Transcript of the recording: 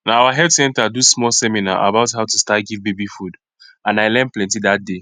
na our health center do small seminar about how to start give baby food and i learn plenty that day